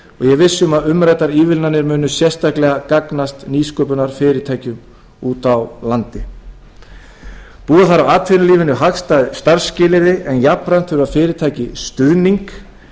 er viss um að umræddar ívilnanir munu sérstaklega gagnast nýsköpunarfyrirtækjum úti á landi búa þarf atvinnulífinu hagstæð starfsskilyrði en jafnframt þurfa fyrirtæki stuðning